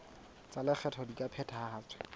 tsa lekgetho di ka phethahatswa